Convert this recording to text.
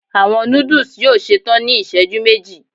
Awọn nudus yoo ṣetan ni iṣẹju meji